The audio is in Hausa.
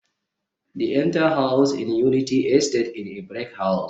the entire house in Unity estate is a brick house